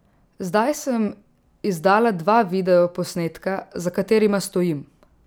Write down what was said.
Zdaj sem izdala dva videoposnetka, za katerima stojim.